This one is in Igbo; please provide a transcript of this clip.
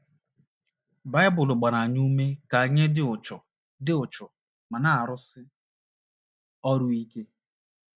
Baịbụl gbara anyị ume ka anyị dị uchu dị uchu ma na - arụsi ọrụ ike.